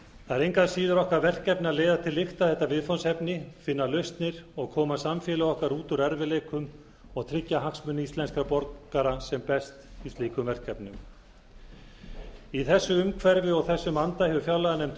það er engu að síður okkar verkefni að leiða til lykta þetta viðfangsefni finna lausnir og koma samfélagi okkar út úr erfiðleikum og tryggja hagsmuni íslenskra borgara sem best í slíkum verkefnum í þessu umhverfi og í þessum anda hefur fjárlaganefnd